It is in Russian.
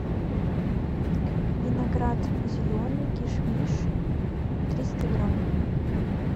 виноград зеленый кишмиш триста грамм